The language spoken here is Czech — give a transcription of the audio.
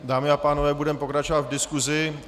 Dámy a pánové, budeme pokračovat v diskusi.